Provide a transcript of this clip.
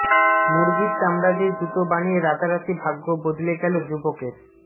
মুরগীর চামড়া দিয়ে জুতো বানিয়ে রাতারাতি ভাগ্য বদলে গেল যুবকের